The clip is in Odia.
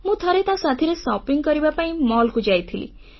ମୁଁ ଥରେ ତା ସାଥୀରେ ବଜାରସପିଂ କରିବା ପାଇଁ ମଲକୁ ଯାଇଥିଲି